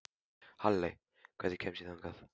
Halley, hvernig kemst ég þangað?